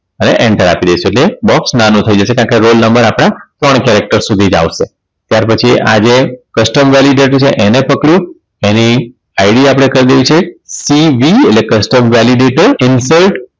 હવે enter આપી દઇશું એટલે box નાનું થઈ જશે કારણ કે roll number આપણા ત્રણ character સુધી જ આવશે ત્યાર પછી આજે custom validate છે એને પકડ્યું એની ID આપણે કરી દેવી છે CV એટલે custom validate insert